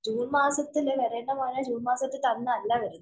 June‍ മാസത്തില് വരേണ്ട മഴ ജൂണ്‍ മാസത്തില്‍ തന്നല്ല വരുന്നത്.